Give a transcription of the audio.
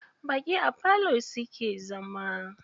Baƙi a falo suke zama.